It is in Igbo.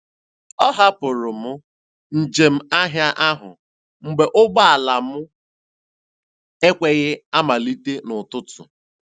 A hapụrụ m njem ahịa ahụ mgbe ụgbọala m ekweghị amalite n'ụtụtụ.